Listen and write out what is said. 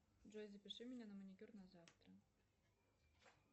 джой запиши меня на маникюр на завтра